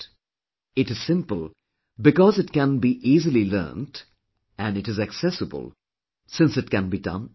It is simple because it can be easily learned and it is accessible, since it can be done anywhere